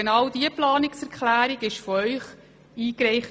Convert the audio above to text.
» Diese Planungserklärung wurde von der SVP eingereicht.